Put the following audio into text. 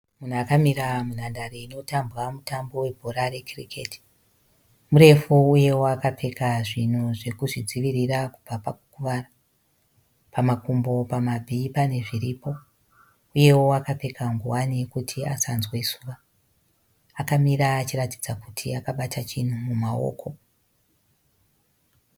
Munhu akamira munhandare inotambwa mutambo webhora rekiriketi. Murefu uyewo akapfeka zvinhu zvekuzvidzivirira kubva pakukuvara. Pamakumbo, pamabvi pane zviripo uyewo akapfeka ngowani yekuti asanzwe zuva. Akamira achiratidza kuti akabata chinhu mumaoko.